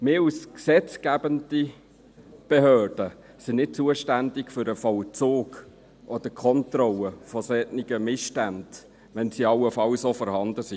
Wir als gesetzgebende Behörde sind nicht zuständig für den Vollzug oder die Kontrolle solcher Missstände, wenn diese allenfalls vorhanden sind.